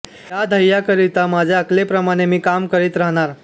या ध्येयाकरिता माझ्या अकलेप्रमाणे मी काम करीत राहणार